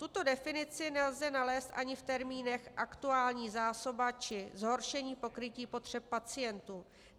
Tuto definici nelze nalézt ani v termínech aktuální zásoba či zhoršení pokrytí potřeb pacientů.